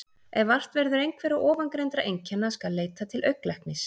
Ef vart verður einhverra ofangreindra einkenna skal leita til augnlæknis.